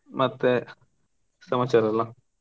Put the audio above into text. ಮತ್ತೆ, ಸಮಾಚಾರೆಲ್ಲ?